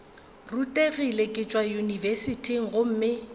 rutegile ke tšwa yunibesithing gomme